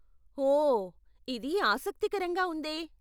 ఓ, ఇది ఆసక్తికరంగా ఉందే .